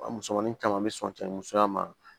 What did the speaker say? A musomanin caman bɛ sɔn cɛ ni musoya ma